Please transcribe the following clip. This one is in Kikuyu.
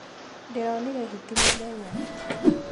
Ndĩronire hiti mũthenya.